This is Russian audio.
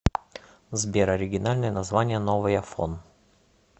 сбер оригинальное название новый афон